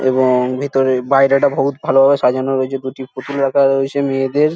এবং ভিতরে বাইরেটা বহুত ভালো ভাবে সাজানো রয়েছে। দুটি পুতুল রাখা রয়েছে মেয়েদের।